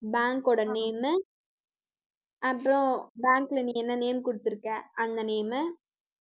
bank ஓட name உ அப்புறம் bank ல நீ என்ன name கொடுத்திருக்க அந்த name உ